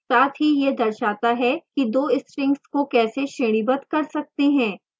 साथ ही यह दर्शाता है कि दो strings को कैसे श्रेणीबद्ध कर सकते हैं